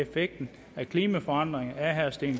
vi